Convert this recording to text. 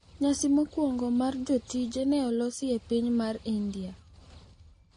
Nyasi mokwongo mar jotije ne olosi e piny mar India.